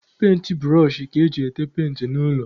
Penti bụrọshị ka eji ete penti n'ụlọ.